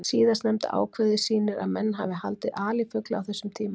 Síðastnefnda ákvæðið sýnir að menn hafa haldið alifugla á þessum tíma.